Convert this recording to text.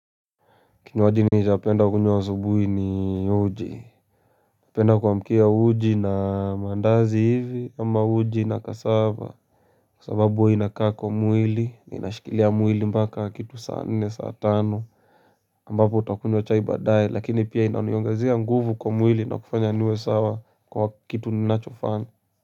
Kinywaji nishapenda kukunywa asubuhi ni uji napenda kuamkia uji na maandazi hivi ama uji na kasava Kwasababu huwa inakaa kwa mwili na inashikilia mwili mpaka kitu saa nne saa tano ambapo utakunywa chai baadaye lakini pia inaniongezea nguvu kwa mwili na kufanya niwe sawa kwa kitu ninachofanya.